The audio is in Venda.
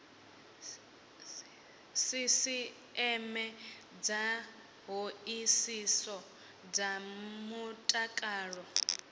sisieme dza hoisiso dza mutakalo